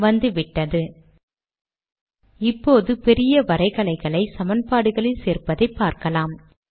வந்துவிட்டது இப்போது பெரிய வரைகலைகளை சமன்பாடுகளில் சேர்ப்பதை பார்க்கலாம்